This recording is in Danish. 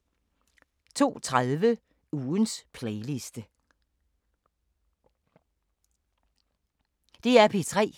DR P3